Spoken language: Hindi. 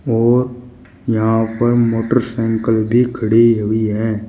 और यहां पर मोटरसाइकिल भी खड़ी हुई है।